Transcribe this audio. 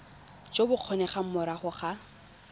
jo bo kgonegang morago ga